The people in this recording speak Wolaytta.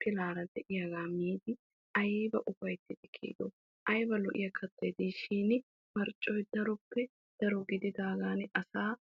pilara de'iyagq miiddi aybba ufayttiddo keehippe lo'iya kattay de'ishin marccoy asaa digees.